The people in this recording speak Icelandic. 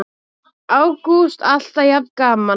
Ágúst: Alltaf jafn gaman?